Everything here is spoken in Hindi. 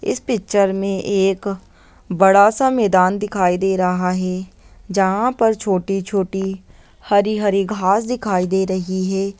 इस पिक्चर में एक बड़ा सा मैदान दिखाई दे रहा है जहां पर छोटी-छोटी हरी-हरी घास दिखाई दे रही है।